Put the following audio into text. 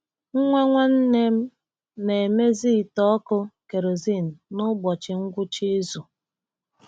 Nwa nwanne m na-emezi ite ọkụ kerosene n’ụbọchị ngwụcha izu.